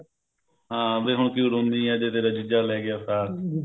ਹਾਂ ਵੀ ਹੁਣ ਕਿਉ ਰੋੰਨੀ ਆ ਜੇ ਤੇਰਾ ਜੀਜਾ ਲੈਗਿਆ ਸਾਕ